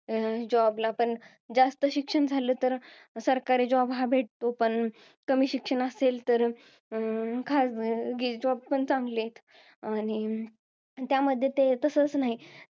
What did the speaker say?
Job ला. पण, अं जास्त शिक्षण झालं तर सरकारी job हा भेटतो. पण कमी शिक्षण असेल तर, खाजगी job पण चांगले. आणि, त्यामध्ये ते तसच नाही,